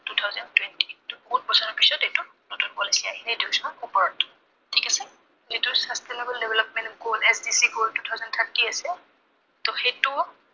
two thousand twenty এইটো বহুত বছৰৰ পিছত এইটো নতুন policy আহিলে। এইটো চোৱা ওপৰত। ঠিক আছে। এইটো sustainable development goal SDC goal, two thousand thirty আছে। ত সেইটো